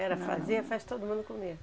Era fazer, faz todo mundo comia.